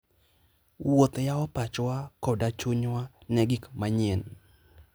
Wuoth yawo pachwa koda chunywa ne gik manyien.